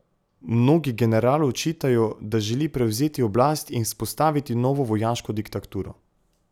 Mnogi generalu očitajo, da želi prevzeti oblast in vzpostaviti novo vojaško diktaturo.